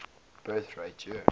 birth rate year